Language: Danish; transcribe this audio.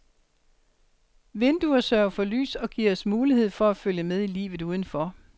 Vinduer sørger for lys og giver os muligheder for at følge med i livet udenfor.